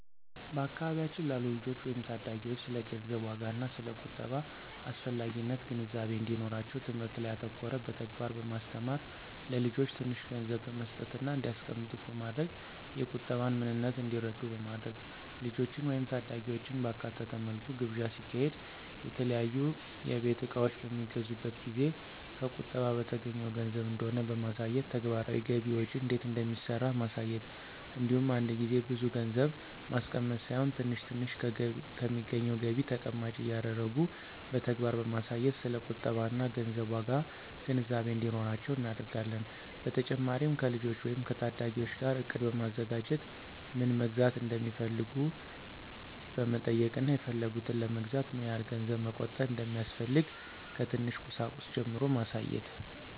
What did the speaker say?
በአካባቢያችን ላሉ ልጆች ወይም ታዳጊዎች ስለ ገንዘብ ዋጋና ስለ ቁጠባ አስፈላጊነት ግንዛቤ እንዲኖራቸው ትምህርት ላይ ያተኮረ በተግባር በማስተማር(ለልጆች ትንሽ ገንዘብ በመስጠትና እንዲያስቀምጡት በማድረግ የቁጠባን ምንነት እንዲረዱ በማድረግ)፣ ልጆችን ወይም ታዳጊዎችን ባካተተ መልኩ ግብዣ ሲካሄድ፣ የተለያዩ የቤት እቃዎች በሚገዙበት ጊዜ ከቁጠባ በተገኘው ገንዘብ እንደሆነ በማሳየት፣ ተግባራዊ ገቢ ወጪ እንዴት እንደሚሰራ ማሳየት እንዲሁም አንድ ጊዜ ብዙ ገንዘብ ማስቀመጥ ሳይሆን ትንሽ ትንሽ ከሚገኘው ገቢ ተቀማጭ እያደረጉ በተግባር በማሳየት ስለ ቁጠባና ገንዘብ ዋጋ ግንዛቤ እንዲኖራቸው እናደርጋለን። በተጨማሪም ከልጆች ወይም ከታዳጊዎች ጋር እቅድ በማዘጋጀት ምን መግዛት እንደሚፈልጉ በመጠየቅና የፈለጉትን ለመግዛት ምን ያህል ገንዘብ መቆጠብ እንደሚያስፈልግ ከትንሽ ቁሳቁስ ጀምሮ ማሳየት።